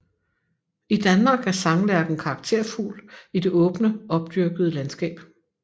I Danmark er sanglærken karakterfugl i det åbne opdyrkede landskab